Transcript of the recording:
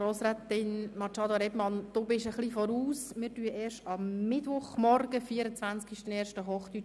Grossrätin Machado, Sie sind der Zeit voraus – wir sprechen erst am Mittwochmorgen, am 24. Januar, Hochdeutsch.